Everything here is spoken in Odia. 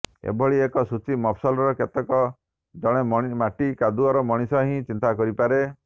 ଏଭଳି ଏକ ସୂଚୀ ମଫସଲର କେବଳ ଜଣେ ମାଟି କାଦୁଅର ମଣିଷ ହିଁ ଚିନ୍ତା କରିପାରେ